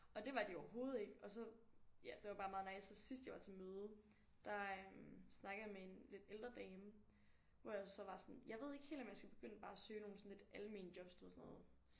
Og det var de overhovedet ikke og så ja det var bare meget nice og sidst jeg var til møde der øh snakkede jeg med en lidt ældre dame hvor jeg så var sådan jeg ved ikke helt om jeg skal begynde bare at søge nogle sådan lidt almene jobs du ved sådan noget